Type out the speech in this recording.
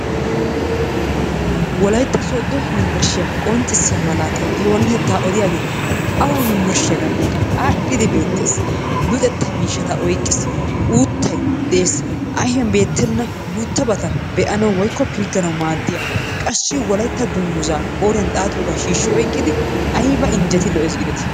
Wolaytta sooddo yunbburshshiya qonccissiya malaatay i oonatetta odiyaagee awa yunbburshshiyaagappekka aadhdhidi beettees. luxetta miishshata oyqqiis, uuttay dees, ayfiyaa beettena guuttabata be'anaw woykko pilgganaw maaddiyaa, qassi wolaytta dungguzzaa qooriyaan xaxxiyooga shiishshi oyqqidi aybba injjeti lo''essi giideti.